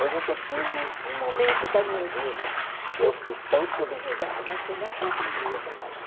Eu nunca tive um momento da minha vida que eu fui tão subjugada, mas foi lá que eu aprendi a trabalhar.